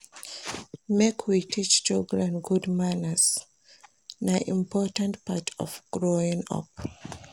Make we teach children good manners, na important part of growing up.